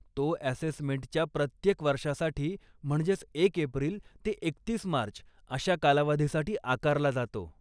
तो अॅसेसमेंटच्या प्रत्येक वर्षासाठी, म्हणजेच एक एप्रिल ते एकतीस मार्च अशा कालावधीसाठी आकारला जातो.